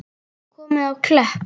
Komið á Klepp?